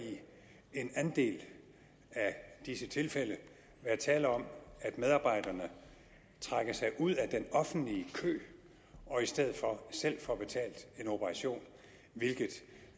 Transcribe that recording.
en del af disse tilfælde være tale om at medarbejderne trækker sig ud af den offentlige kø og i stedet for selv får betalt en operation hvilket